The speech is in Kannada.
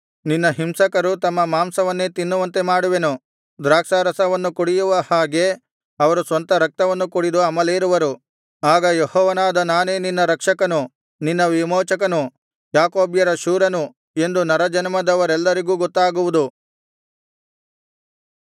ನಿನ್ನ ಹಿಂಸಕರು ತಮ್ಮ ಮಾಂಸವನ್ನೇ ತಿನ್ನುವಂತೆ ಮಾಡುವೆನು ದ್ರಾಕ್ಷಾರಸವನ್ನು ಕುಡಿಯುವ ಹಾಗೆ ಅವರು ಸ್ವಂತ ರಕ್ತವನ್ನು ಕುಡಿದು ಅಮಲೇರುವರು ಆಗ ಯೆಹೋವನಾದ ನಾನೇ ನಿನ್ನ ರಕ್ಷಕನು ನಿನ್ನ ವಿಮೋಚಕನು ಯಾಕೋಬ್ಯರ ಶೂರನು ಎಂದು ನರಜನ್ಮದವರೆಲ್ಲರಿಗೂ ಗೊತ್ತಾಗುವುದು